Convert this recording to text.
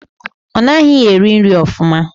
Ọ naghị eri nri ofụma.